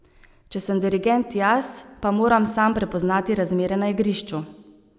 Če sem dirigent jaz, pa moram sam prepoznati razmere na igrišču.